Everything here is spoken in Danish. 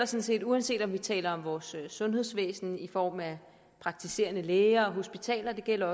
set uanset om vi taler om vores sundhedsvæsen i form af praktiserende læger hospitaler eller